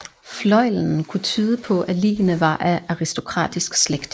Fløjlen kunne tyde på at ligene var af aristokratisk slægt